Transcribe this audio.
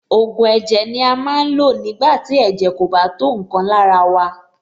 Ògùn ẹ̀jẹ̀ ni a máa ń lò nígbà tí ẹ̀jẹ̀ kò bá tó nǹkan lára wa.